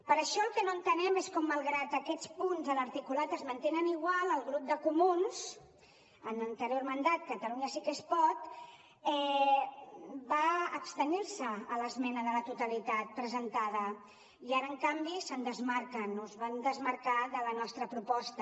per això el que no entenem és com malgrat que aquests punts de l’articulat es mantenen igual el grup dels comuns en l’anterior mandat catalunya sí que es pot va abstenir se a l’esmena de la totalitat presentada i ara en canvi se’n desmarquen de la nostra proposta